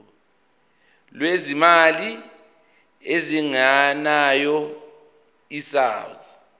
lwezimali ezingenayo isouth